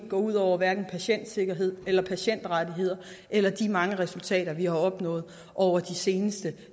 går ud over patientsikkerhed eller patientrettigheder eller de mange resultater vi har opnået over de seneste